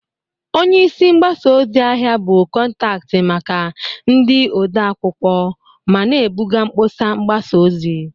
Onye isi mgbasa ozi/ahịa bụ kọntaktị maka ndị ode akwụkwọ ma na-ebuga mkpọsa mgbasa ozi.